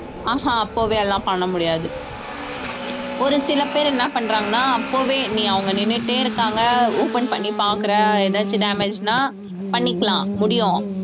ஆஹான் அப்பவே எல்லாம் பண்ண முடியாது ஒரு சில பேர் என்ன பண்றாங்கனா அப்பவே நீ அவங்க நின்னுட்டே இருக்காங்க open பண்ணி பாக்கறேன் ஏதாச்சும் damage னா பண்ணிக்கலாம் முடியும்